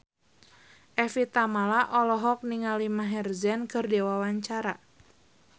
Evie Tamala olohok ningali Maher Zein keur diwawancara